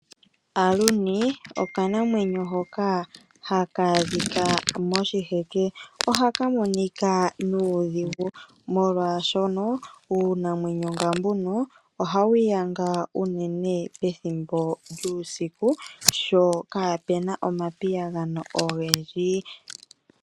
Aluni, okanamwenyo hoka haka adhika moshiheke, ohaka monika nuudhigu, molwaashono uunamwenyo nga mbuno oha wu yanga unene pethimbo lyuusiku sho kaapuna omapiyagano ogendji.